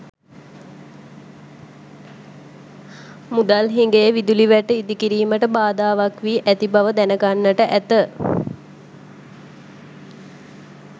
මුදල් හිඟය විදුලි වැට ඉදිකිරීමට බාධාවක් වී ඇති බව දැනගන්නට ඇත.